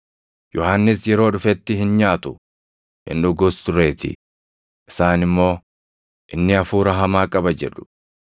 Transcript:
Yohannis yeroo dhufetti hin nyaatu, hin dhugus tureetii; isaan immoo, ‘Inni hafuura hamaa qaba’ jedhu.